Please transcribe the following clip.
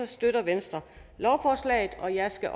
støtter venstre lovforslaget og jeg skal